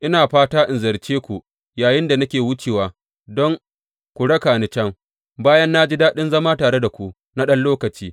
Ina fata in ziyarce ku yayinda nake wucewa don ku raka ni can, bayan na ji daɗin zama tare da ku na ɗan lokaci.